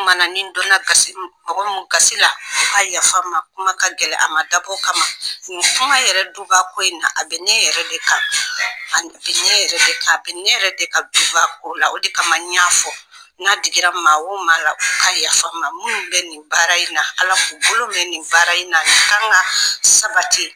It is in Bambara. kumana nin donna gasi min, mɔga min qasi la, o ka yafa n ma kuma ka gɛlɛ, a ma dabɔ o kama, kuma yɛrɛ dubako in na a bɛ ne yɛrɛ de kan, a bɛ ne yɛrɛ de kan, a bɛ ne yɛrɛ de ka duba ko la, o de kama n y'a fɔ, n'a digira maa o maa la, o ka yafa n ma, minnu bɛ nin baara in na Ala k'u bolo mɛn nin baara in na, kan ka sabati.